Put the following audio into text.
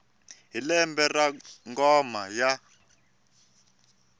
hi lembe ra ngoma ya